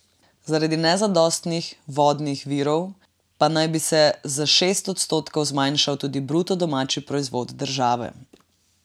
Zaradi nezadostnih vodnih virov pa naj bi se za šest odstotkov zmanjšal tudi bruto domači proizvod države.